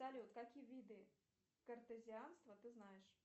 салют какие виды картезианства ты знаешь